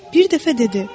Bir dəfə dedi: